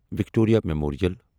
Victoria memorial